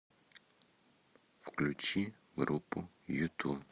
включи группу юту